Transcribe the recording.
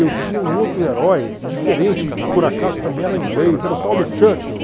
Eu tinha um outro herói, diferente, por acaso também era inglês, era o tal do Churchill.